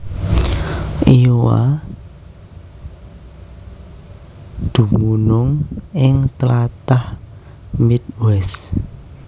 Iowa dumunung ing tlatah Midwest